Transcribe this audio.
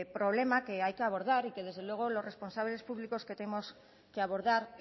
problema que hay que abordar y que desde luego los responsables públicos tenemos que abordar